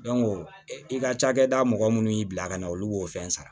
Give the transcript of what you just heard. i ka cakɛda mɔgɔ munnu y'i bila ka na olu b'o fɛn sara